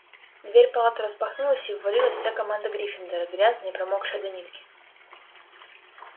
дверь палаты распахнулась и ввалилась вся команда гриффиндора грязная и промокшая до нитки